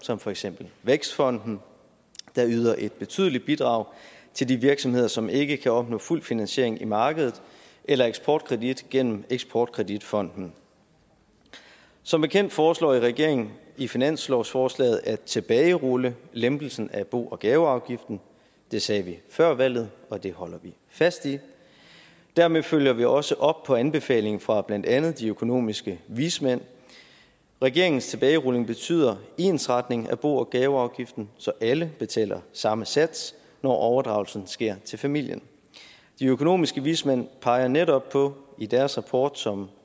som for eksempel vækstfonden der yder et betydeligt bidrag til de virksomheder som ikke kan opnå fuld finansiering i markedet eller eksportkredit gennem eksportkreditfonden som bekendt foreslår regeringen i finanslovsforslaget at tilbagerulle lempelsen af bo og gaveafgiften det sagde vi før valget og det holder vi fast i dermed følger vi også op på anbefalingen fra blandt andet de økonomiske vismænd regeringens tilbagerulning betyder ensretning af bo og gaveafgiften så alle betaler samme sats når overdragelsen sker til familien de økonomiske vismænd peger netop på i deres rapport som